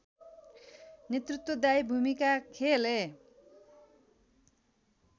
नेतृत्वदायी भूमिका खेले